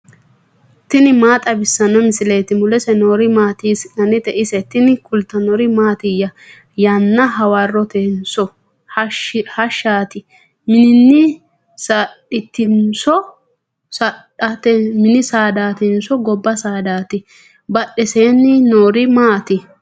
tini maa xawissanno misileeti ? mulese noori maati ? hiissinannite ise ? tini kultannori mattiya? Yanna hawaroottinso hashshati? minni saadatinso gobba saadatti? badheennsaanni noori maatti?